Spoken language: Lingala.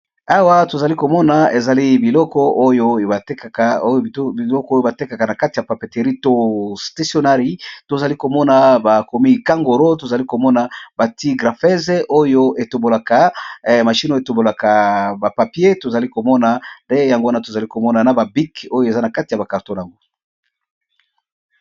Awa tozali komona ezali biloko biloko oyo batekaka na kati ya papeterie to stationnairie tozali komona bakomi kangoro tozali komona bati graphesee oyo etombolaka, machine etombolaka ba papier tozali komona yango wana tozali komona na ba bic oyo eza na kati ya ba carton nango.